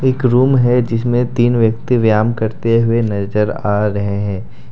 एक रूम है जिसमे तीन व्यक्ति व्याम करते हुए नजर आ रहे हैं।